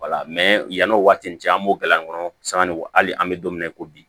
wala yann'o waati in cɛ an b'o gala kɔnɔ sanga ni kɔ hali an bɛ don min na i ko bi